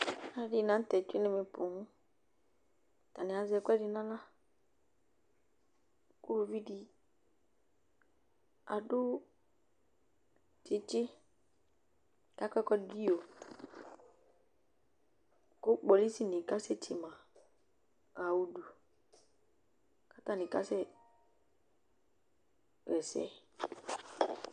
Alʋɛdɩnɩ la nʋ tɛ tsue nʋ ɛmɛ poo Atanɩ azɛ ɛkʋɛdɩ nʋ aɣla kʋ uluvi dɩ adʋ tsɩtsɩ kʋ akɔ ɛkʋɛdɩ dʋ iyo kʋ kpolisinɩ kasɛtse ma ɣa udu kʋ atanɩ kasɛɣa ɛsɛ